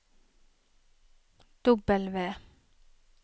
W